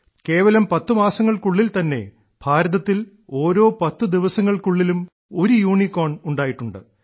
കേവലം പത്തു മാസങ്ങൾക്കുള്ളിൽ തന്നെ ഭാരതത്തിൽ ഓരോ പത്തു ദിവസങ്ങൾക്കുള്ളിലും ഒരു യൂണിക്കോൺ ഉണ്ടായിട്ടുണ്ട്